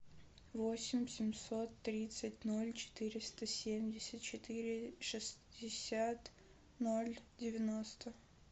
восемь семьсот тридцать ноль четыреста семьдесят четыре шестьдесят ноль девяносто